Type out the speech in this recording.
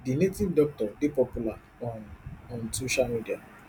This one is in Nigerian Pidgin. di native doctor dey popular on on social media